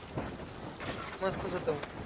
मस्तंच होतं मंग